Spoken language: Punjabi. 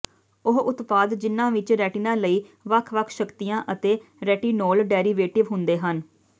ਉਹ ਉਤਪਾਦ ਜਿਨ੍ਹਾਂ ਵਿਚ ਰੈਟੀਨਾ ਲਈ ਵੱਖ ਵੱਖ ਸ਼ਕਤੀਆਂ ਅਤੇ ਰੈਟੀਨੋਲ ਡੈਰੀਵੇਟਿਵ ਹੁੰਦੇ ਹਨ